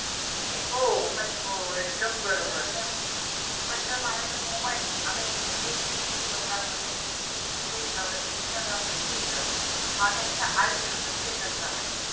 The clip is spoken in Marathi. पण जर माझ्याकडे mobile आहे आता इतकी बैचनी असते लोकांमध्ये म्हणजे इन्स्टाग्रामचा status हा त्यांच्या आयुष्याचा status झालाय.